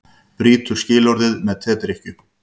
Brýtur skilorðið með tedrykkju